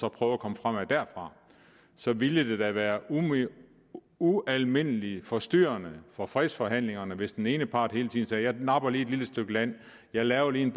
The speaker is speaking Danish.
og prøve at komme fremad derfra så ville det da være ualmindelig forstyrrende for fredsforhandlingerne hvis den ene part hele tiden sagde jeg napper lige et lille stykke land jeg laver lige en